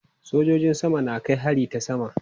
Sojojin sama na kai hari ta sama.